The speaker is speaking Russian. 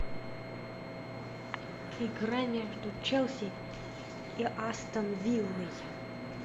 игра между челси и астон виллой